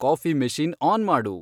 coffee machine on ಮಾಡು